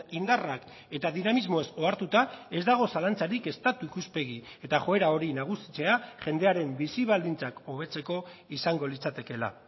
indarrak eta dinamismoez ohartuta ez dago zalantzarik estatu ikuspegi eta joera hori nagusitzea jendearen bizi baldintzak hobetzeko izango litzatekeela